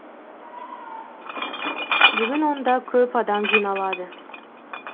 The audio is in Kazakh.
бүгін онда көп адам жиналады